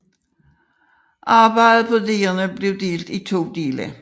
Arbejdet på digerne blev delt i to dele